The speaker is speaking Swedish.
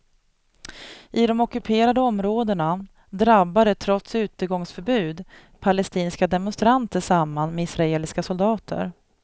I de ockuperade områdena drabbade trots utegångsförbud palestinska demonstranter samman med israeliska soldater.